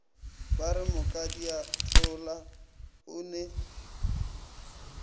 ba re mokadiathola o ne